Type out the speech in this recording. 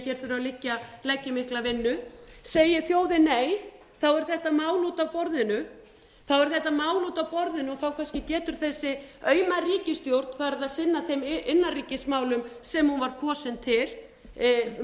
hér þurfi að leggja í mikla vinnu segi þjóðin nei er þetta mál út af borðinu og þá kannski getur þessi auma ríkisstjórn farið að sinna þeim innanríkismálum sem hún var kosin til með